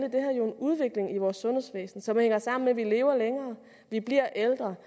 udvikling i vores sundhedsvæsen som hænger sammen med at vi lever længere vi bliver ældre